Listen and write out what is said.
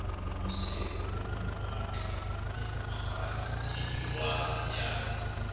o moseho mawatle mmekgaitsedi ya